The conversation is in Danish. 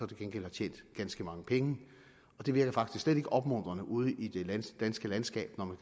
gengæld har tjent ganske mange penge det virker faktisk slet ikke opmuntrende ude i det danske landskab når man